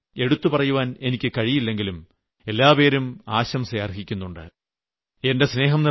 എല്ലാ സംസ്ഥാനങ്ങളെയും എടുത്തുപറയാൻ എനിക്ക് കഴിയില്ലെങ്കിലും എല്ലാപേരും ആശംസ അർഹിക്കുന്നുണ്ട്